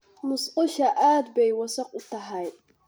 Musqusha aad bay wasakh u tahay.